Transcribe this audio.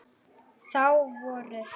Þá voru